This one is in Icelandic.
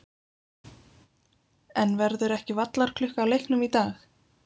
En verður ekki vallarklukka á leiknum í dag?